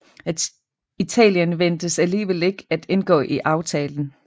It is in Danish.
Italien ventes alligevel ikke at indgå i aftalen